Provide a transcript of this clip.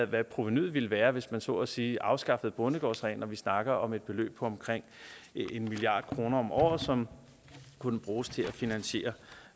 hvad provenuet ville være hvis man så at sige afskaffede bondegårdsreglen og vi snakker om et beløb på omkring en milliard kroner om året som kunne bruges til at finansiere